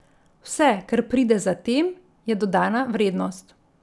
Vse, kar pride zatem, je dodana vrednost.